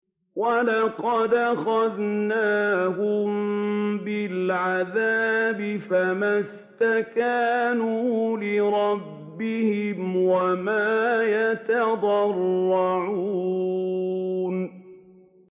وَلَقَدْ أَخَذْنَاهُم بِالْعَذَابِ فَمَا اسْتَكَانُوا لِرَبِّهِمْ وَمَا يَتَضَرَّعُونَ